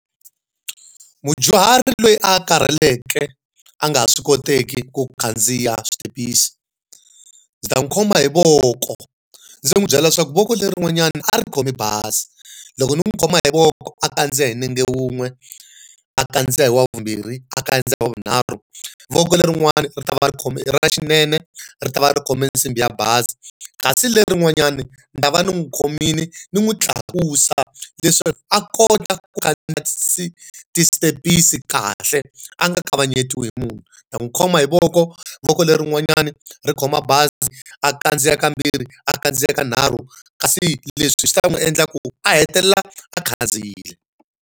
Mudyuhari loyi a karheleke a nga ha swi koteki ku khandziya switepisi, ndzi ta hi khoma hi voko ndzi n'wi byela leswaku voko lerin'wanyani a ri khomi bazi. Loko ni n'wi khoma hi voko a kandziya hi nenge wun'we, a kandziya hi wa vumbirhi, a kandziya vunharhu, voko lerin'wani ri ta va ri ra xinene, ri ta va ri khome nsimbi ya bazi kasi lerin'wanyani ni ta va ni n'wi khomile, ni n'wi tlakusa leswaku a kota ku khandziya ti step-isi kahle, a nga kavanyetiwi hi munhu. Ni ta n'wi khoma hi voko, voko lerin'wanyani ri khoma bazi a kandziya kambirhi, a kandziya kanharhu kasi leswi swi ta n'wi endla ku a hetelela a khandziyile.